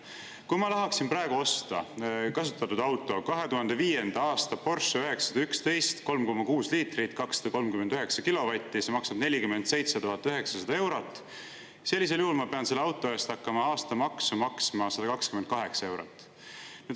Kui ma tahaksin praegu osta kasutatud auto, 2005. aasta Porsche 911 – 3,6 liitrit, 239 kilovatti, maksab 47 900 eurot –, sellisel juhul ma pean selle auto eest hakkama aastamaksu maksma 128 eurot.